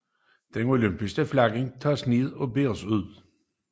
Det olympiske flag tages ned og bæres ud